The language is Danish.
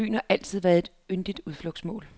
Byen har altid været et yndet udflugtsmål.